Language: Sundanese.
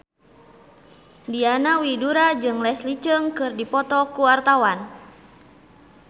Diana Widoera jeung Leslie Cheung keur dipoto ku wartawan